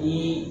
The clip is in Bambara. Ni